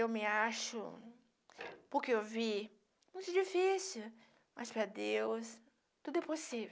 Eu me acho, porque eu vi, muito difícil, mas para Deus tudo é possível.